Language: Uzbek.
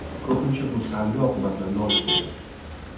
Ko‘pincha bu salbiy oqibatlarga olib keladi.